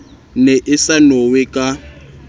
ne e sa nowe ka